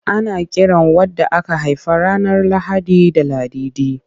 Ana kiran wadda aka haifa ranar Lahadi da Ladidi.